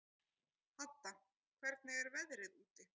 Hadda, hvernig er veðrið úti?